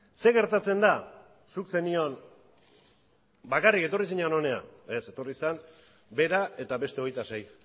zer gertatzen da zuk zenion bakarrik etorri zinen hona ez etorri zen bera eta beste hogeita sei